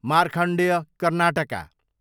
Markandeya Karnataka